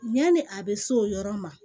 Yani a bɛ s'o yɔrɔ ma